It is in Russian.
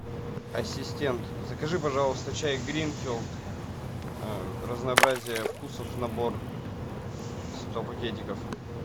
ассистент закажи пожалуйста чай гринфилд разнообразие вкусов набор сто пакетиков